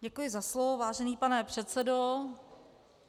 Děkuji za slovo, vážený pane předsedo.